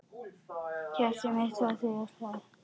Hjartað mitt Þú ávallt sagðir.